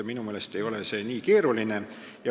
Minu meelest ei ole see nii keeruline.